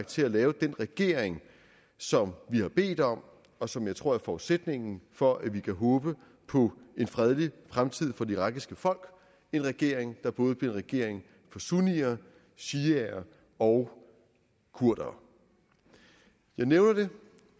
til at lave den regering som vi har bedt om og som jeg tror er forudsætningen for at vi kan håbe på en fredelig fremtid for det irakiske folk en regering der både bliver en regering for sunnier shiaer og kurdere jeg nævner det